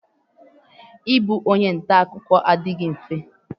I bụ onye ntakụkọ adịghị mfe.